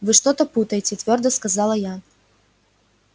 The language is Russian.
вы что-то путаете твёрдо сказала я